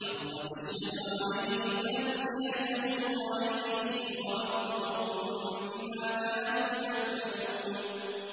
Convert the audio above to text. يَوْمَ تَشْهَدُ عَلَيْهِمْ أَلْسِنَتُهُمْ وَأَيْدِيهِمْ وَأَرْجُلُهُم بِمَا كَانُوا يَعْمَلُونَ